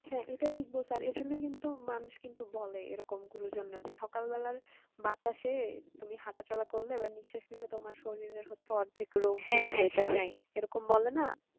হ্যাঁ এটা ঠিক বলছো আর এর জন্যে কিন্তু মানুষ কিন্তু বলে এরকম গুরুজনরা যে সকাল বেলার বাতাসে তুমি হাটা চলা করলে বা নিঃশাস নিলে তোমার শরীর এর হচ্ছে অর্ধেক রোগ এরকম বলে না